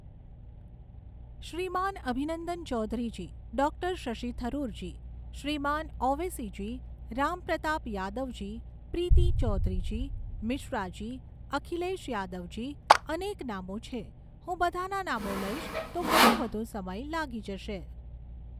શ્રીમાન Abhinandan Chaudharyji, doctor Shashi Tharoorji, Shriman Owaisiji, Rampratap Yadavji, Preeti Chaudharyji, Mishraji, Akhilesh Yadavji, અનેક નામો છે, હું બધાના નામો લઈશ તો ઘણો વધુ સમય લાગી જશે.